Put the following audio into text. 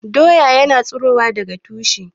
Doya ya na tsirowa daga tushe